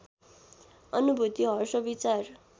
अनुभूति हर्ष विचार